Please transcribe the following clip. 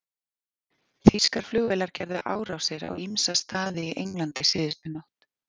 Þýskar flugvélar gerðu árásir á ýmsa staði í Englandi síðustu nótt.